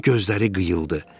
Onun gözləri qıyıldı.